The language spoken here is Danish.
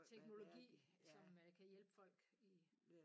Teknologi som øh kan hjælpe folk i